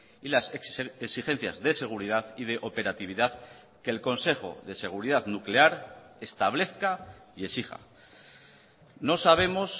y las exigencias de seguridad y de operatividad que el consejo de seguridad nuclear establezca y exija nos sabemos